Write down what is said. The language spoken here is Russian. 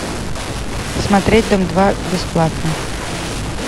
смотреть дом два бесплатно